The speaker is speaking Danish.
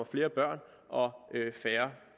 flere børn og færre